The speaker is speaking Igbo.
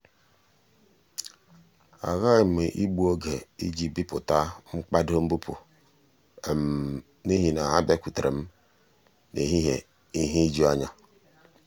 a ghaghị m igbu oge iji bipụta mkpado mbupu n’ihi na ha bịakwutere m n’ehihie ihe ijuanya.